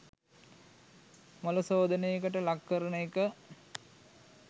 මොළ ශෝධනයකට ලක් කරන එක